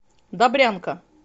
добрянка